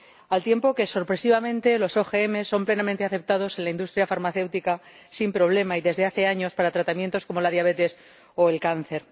al tiempo que, sorpresivamente, los OMG son plenamente aceptados en la industria farmacéutica sin problema, y desde hace años, para tratamientos como la diabetes o el cáncer.